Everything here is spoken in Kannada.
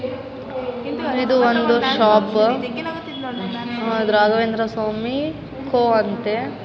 ಇದು ಒಂದು ಶಾಪ್‌ ರಾಘವೇಂದ್ರ ಸ್ವಾಮಿ ಕೋ ಅಂತೆ.